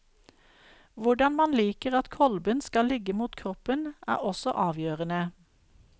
Hvordan man liker at kolben skal ligge mot kroppen, er også avgjørende.